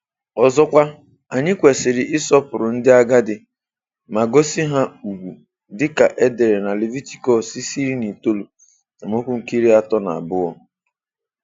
Ọzọkwa, anyị kwesịrị ịsọpụrụ ndị agadi ma gosi ha ùgwù dịka e dere na Levitikọs 19:32.